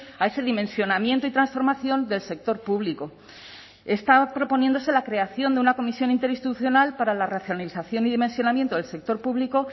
a ese dimensionamiento y transformación del sector público está proponiéndose la creación de una comisión interinstitucional para la racionalización y dimensionamiento del sector público